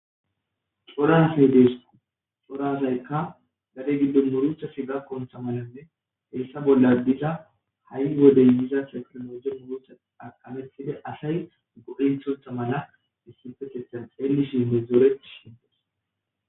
corasey deesku cora asaykka gade giddon muruchasi gakontha malanne heessa bolla diza ha7i wodey diza sefiremoje murutha aqametide asay godinthontha mala issifekethan xeellishiime zooreti shintes